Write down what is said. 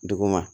Dugu ma